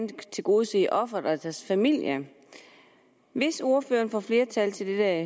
tilgodese ofrene og deres familie hvis ordføreren får flertal til det her